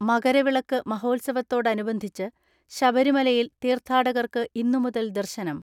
മകരവിളക്ക് മഹോത്സവത്തോടനുബന്ധിച്ച് ശബരിമലയിൽ തീർത്ഥാടകർക്ക് ഇന്നു മുതൽ ദർശനം.